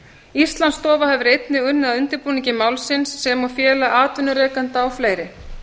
íslandsstofa hefur einnig unnið að undirbúningi málsins sem og félag atvinnurekenda og fleiri